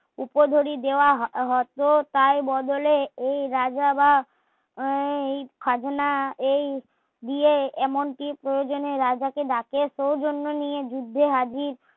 উপযোগী দেওয়া হত তার বদলে এই রাজারা এই খাজনা এই দিয়ে এমনকি প্রয়োজনে রাজা কে ডাকে সেইজন্য নিয়ে যুদ্ধ হাজির